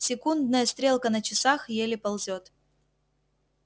секундная стрелка на часах еле ползёт